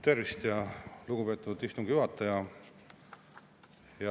Tervist, lugupeetud istungi juhataja!